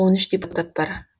он үш депутат бар